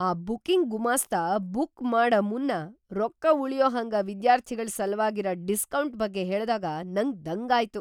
ಆ ಬುಕ್ಕಿಂಗ್‌ ಗುಮಾಸ್ತ ಬುಕ್‌ ಮಾಡ ಮುನ್ನ ರೊಕ್ಕ ಉಳ್ಯೂ ಹಂಗ ವಿದ್ಯಾರ್ಥಿಗಳ್‌ ಸಲ್ವಾಗಿರ ಡಿಸ್ಕೌಂಟ್‌ ಬಗ್ಗೆ ಹೇಳ್ದಾಗ ನಂಗ ದಂಗಾಯ್ತು.